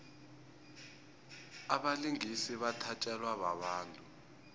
abalingisi bathatjelwa babantu